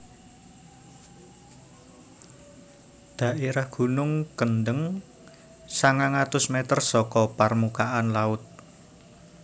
Dhaérah Gunung Kendheng sangang atus mètér saka parmukaan laut